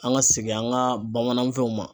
An ka segin an ka bamananfɛnw ma.